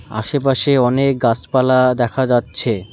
আশেপাশে অনেক গাছপালা দেখা যাচ্ছে।